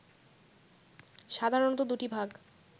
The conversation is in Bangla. সাধারণত দুটি ভাগ